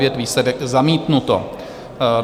Výsledek: zamítnuto.